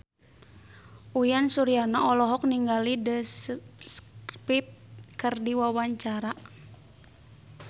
Uyan Suryana olohok ningali The Script keur diwawancara